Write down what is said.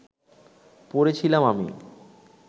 পড়ে ছিলাম আমি